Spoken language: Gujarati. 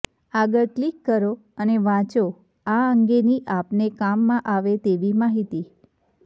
આગળ ક્લિક કરો અને વાંચો આ અંગેની આપને કામમાં આવે તેવી માહિતી